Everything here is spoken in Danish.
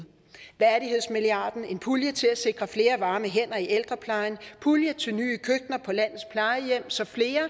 værdighedsmilliarden en pulje til at sikre flere varme hænder i ældreplejen pulje til nye køkkener på landets plejehjem så flere